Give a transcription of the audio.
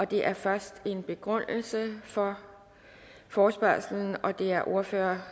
det er først en begrundelse for forespørgslen og det er ordføreren